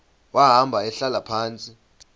wahamba ehlala phantsi